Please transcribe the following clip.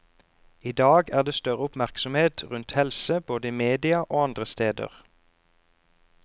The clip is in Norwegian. I dag er det større oppmerksomhet rundt helse, både i media og andre steder.